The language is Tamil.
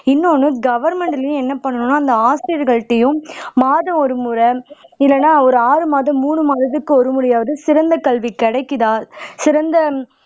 இன்னொன்னு கவர்மெண்ட்லயும் என்ன பண்ணனும்னா அந்த ஆசிரியர்கள்கிட்டேயும் மாதம் ஒரு முறை இல்லே ஒரு ஆறு மாதம் ஒரு மூன்று மாதத்துக்கு ஒரு முறையாவது சிறந்த கல்வி கிடைக்குதா சிறந்த